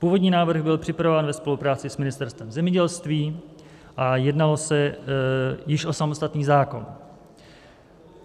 Původní návrh byl připravován ve spolupráci s Ministerstvem zemědělství a jednalo se již o samostatný zákon.